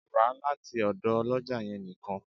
Ra lati ọdọ oloja yẹn nikan!